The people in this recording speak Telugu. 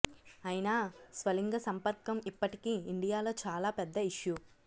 అయినా స్వలింగ సంపర్కం ఇప్పటికీ ఇండియాలో చాలా పెద్ద ఇష్యూ